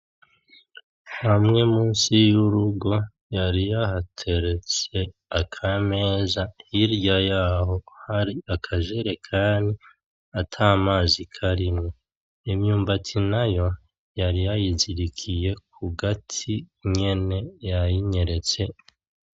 Hamye musi yurugo yari ya hateretse akameza hirya yaho hari akajerekani ata mazi karimwo, imyumbati nayo yari yayi zirikiyeko kugati nyene yayi nyeretse.